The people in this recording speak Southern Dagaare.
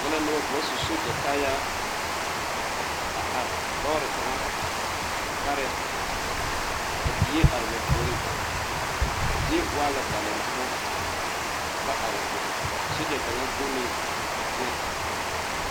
N nyɛ la noba ka ba su soogyɛkaayaa a are lɔɔre kaŋa pare ka die are ba puoriŋ a zie waa la dalempoɔ ka ba are a be a soogyɛ kaŋ guuneeŋ teŋɛ.